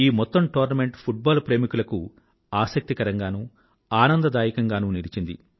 ఈ మొత్తం tournament football ప్రేమికులకు ఆసక్తికరంఘానూ ఆనందదాయకంగానూ నిలిచింది